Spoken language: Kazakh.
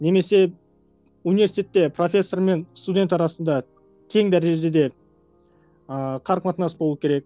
немесе университетте профессор мен студент арасында тең дәрежеде ааа қарым қатынас болу керек